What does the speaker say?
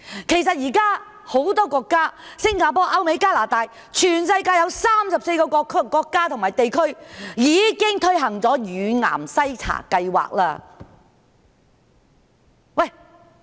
其實，現時很多地方——新加坡、歐美、加拿大等全球34個國家及地區——已經推行乳癌篩查計劃。